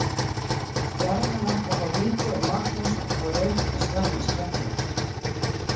Stjarnan átti að fá víti og Magnús átti að fá rautt en slapp með skrekkinn.